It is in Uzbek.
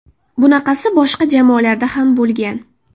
Bunaqasi boshqa jamoalarda ham bo‘lgan.